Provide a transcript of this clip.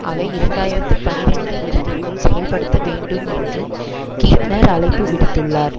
அவை இரண்டாயிரத்து பனிரண்டு இறுதிக்குள் செயல்படுத்தப்பட வேண்டும் என்றும் கீத்னர் அழைப்பு விடுத்துள்ளார்